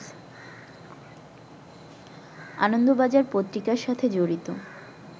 আনন্দবাজার পত্রিকার সাথে জড়িত